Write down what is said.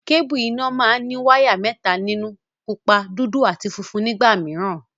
Kébùù iná máa ní wáyà mẹ́ta nínú; pupa, dúdú àti funfun nígbà mìíràn.